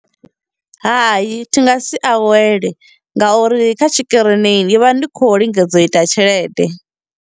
Hai, thi nga si awele ngauri kha tshikirini ndi vha ndi khou lingedza u ita tshelede.